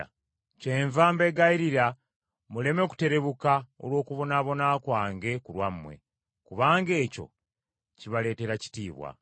Kyenva mbeegayirira muleme kuterebuka olw’okubonaabona kwange ku lwammwe, kubanga ekyo kibaleetera kitiibwa.